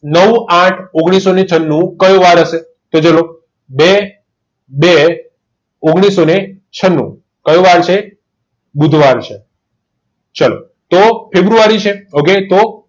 નવ આઠ ઓગણીસોને છન્નું કયો વાર હશે બે બે ઓગણીસોને છન્નું કયો વાર છે બુધવાર છે ચાલો તો ફેબ્રુઆરી કે ok તો